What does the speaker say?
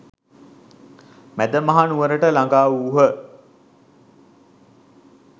මැදමහනුවරට ළඟා වූහ.